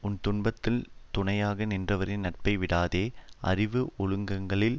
உன் துன்பத்துள் துணையாக நின்றவரின் நட்பை விடாதே அறிவு ஒழுக்கங்களில்